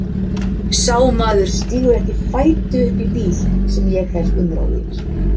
Sá maður stígur ekki fæti uppí bíl sem ég hef umráð yfir.